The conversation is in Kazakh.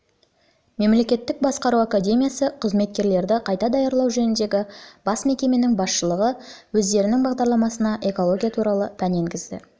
мемлекеттік басқару академиясы қызметкерлерді қайта даярлау жөніндегі бас мекеменің басшылығы өздерінің бағдарламасына экология туралы пән енгізді